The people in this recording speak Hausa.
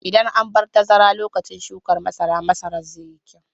Idan an bar tazara lokacin shukan masara, masaran zai yi kyau.